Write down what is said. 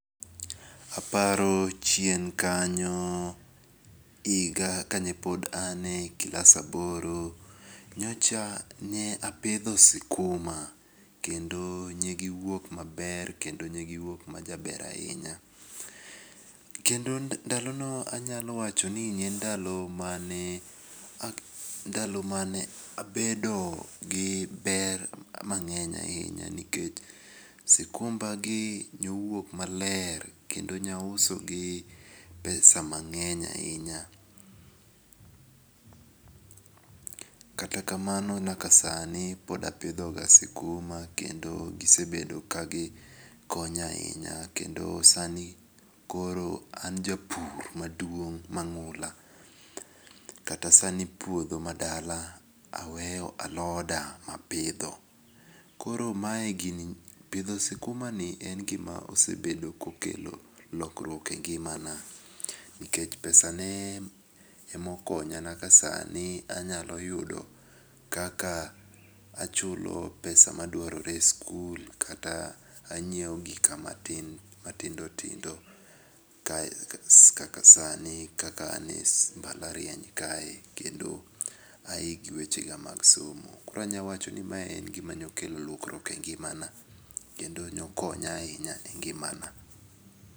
Aparo chien kanyo higa kanye pod en eklas aboro, nyocha nye apitho skuma kendo negiwuok maber kendo negiwuok majaber ahinya, kendo ndalono anyalo wachoni ne en ndalo mane ndalo mane abedo gi ber mang'eny ahinya, nikech sukumbagi nyowuok maler kendo nyausogi pesa mang'eny ahinya, kata kamano nyaka sani pod apithoga sikuma kendo gisebedoga kagi konya ahinya kendo sani koro an japur maduong' mangu'la kata sani puotho madala aweyo aloda mapitho, koro mae gini pitho sikumanie en gima osebedo kokelo lokruok e ng'imana, nikech pesane emokonya nyaka sani anyalo yudo kaka achulo pesa maduarore e skul kata anyiewo gika matindo tindo nyaka kaka sani kaka anie mbalarieny kendo ahi gi wechega mag somo. Koro anyalo wacho ni mae en gima nyalo kelo konyruok e ngimana kendo nokony ahinya e ng'imana.